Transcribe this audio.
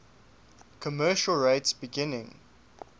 commercial rates beginning